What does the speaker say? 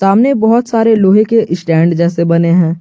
हमने बहोत सारे लोहे के स्टैंड जैसे बने हैं।